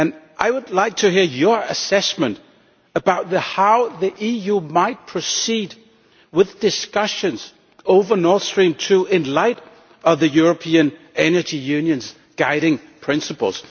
I would like to hear your assessment about how the EU might proceed with discussions on Nord Stream II in the light of the European energy union's guiding principles.